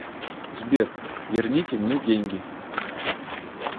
сбер верните мне деньги